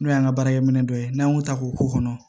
N'o y'an ka baarakɛminɛ dɔ ye n'an y'o ta k'o k'o kɔnɔ